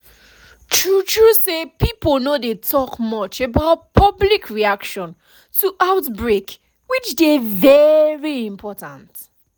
true true say pipo no dey talk much about public reaction to outbreak which dey very important